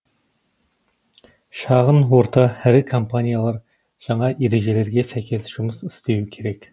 шағын орта ірі компаниялар жаңа ережелерге сәйкес жұмыс істеуі керек